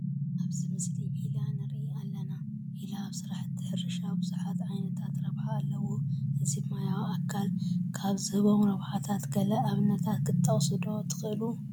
ኣብዚ ምስሊ ዒላ ንርኢ ኣለና፡፡ ዒላ ኣብ ስራሕቲ ሕርሻ ብዙሕ ዓይነት ረብሓ ኣለዎ፡፡ እዚ ማያዊ ኣካል ካብ ዝህቦም ረብሓታት ገለ ኣብነታት ክትጠቕሱ ዶ ትኽእሉ?